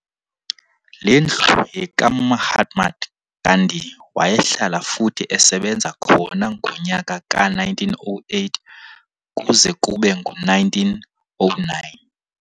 Lendlu yekaMahatma Gandhi wayehlala futhi esebenza khona ngonyaka ka-1908 kuze kube ngu-1909.